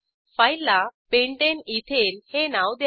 फाईलला pentane ethane हे नाव द्या